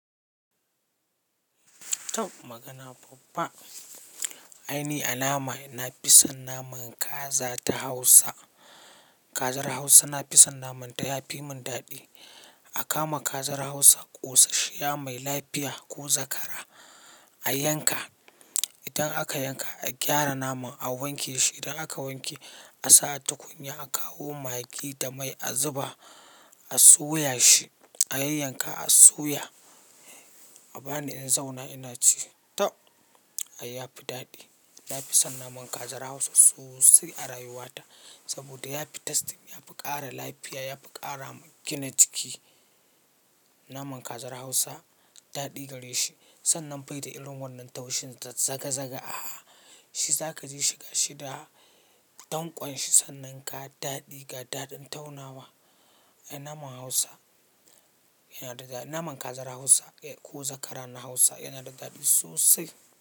To magana babba. Aini a nama na fi son naman kaza ta Hausa. Kazar Hausa na fi son naman ta, ya fi mun daɗi. A kama kazar Hausa, ƙosashiya mai lafiya ko zakara a yanka. Idan aka yanka, a gyara naman, a wanke shi. Idan aka wanke, a sa a tukunya, a kawo magi da mai a zuba, a soya shi, a yanyanka, a soya. A bani in zauna ina ci tau. Ya fi daɗi. Na fi son naman kazar Hausa sosai a rayuwata saboda ya fi tasti, ya fi ƙara lafiya, ya fi ƙara gina jiki. Naman kazar Hausa daɗi gare shi. Sannan bai da irin wannan taushin ta zagazaga. Ah, shi za ka ji shi ga shi da dankon shi sannan ga daɗi ga daɗin taunawa. Naman Hausa yana da daɗi. Naman kazar Hausa ko zakara na Hausa yana da daɗi sosai.